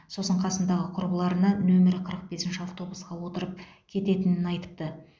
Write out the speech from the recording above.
сосын қасындағы құрбыларына нөмір қырық бесінші автобусқа отырып кететінін айтыпты